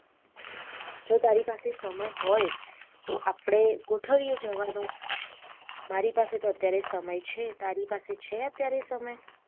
જો તારી પાસે સમય હોય તો આપડે ગોઠવીએ જવાનુ મારી પાસે તો અત્યારે સમય છે તારી પાસે છે અત્યારે સમય